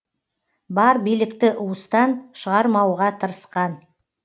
бар билікті уыстан шығармауға тырысқан